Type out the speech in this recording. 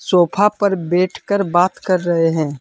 Sofa पर बैठकर बात कर रहे हैं।